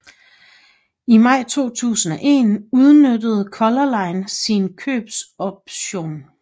I maj 2001 udnyttede Color Line sin købsoption